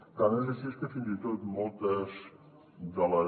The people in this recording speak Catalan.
tant és així que fins i tot moltes de les